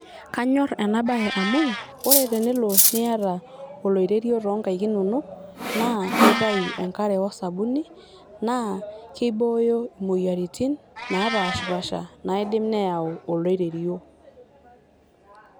Kanyorr ena bae amu ore tenelo nita oloirerio toonkaik inonok naa keitau enkare osabuni naa keibooyo imoyiaritin napashpaasha naidim neyau oloirerio.